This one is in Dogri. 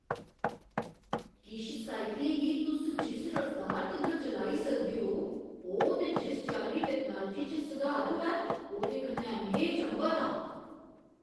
किश साइकलें गी तुस जिस रफ्तार तगर चलाई सकदे ओ, ओह् ते जिस चाल्ली टैक्नालोजी च सुधार होआ ऐ, ओह्दे कन्नै में चंभत आं।